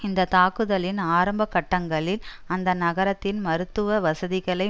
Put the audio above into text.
இந்தத்தாக்குதலின் ஆரம்ப கட்டங்களில் அந்த நகரத்தின் மருத்துவ வசதிகளை